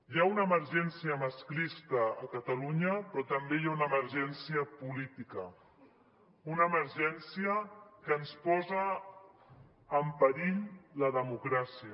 hi ha una emergència masclista a catalunya però també hi ha una emergència política una emergència que ens posa en perill la democràcia